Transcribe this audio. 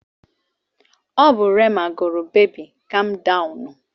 Ọ bụ Rema gụrụ Beebi Kam Dawụnụ.